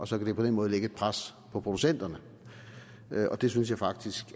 så på den måde lægge et pres på producenterne og det synes jeg faktisk